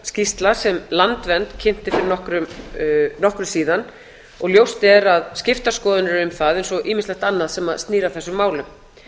skýrsla sem landvernd kynnti fyrir nokkru síðan og ljóst er að skiptar skoðanir um það eins og ýmislegt annað sem snýr að þessum málum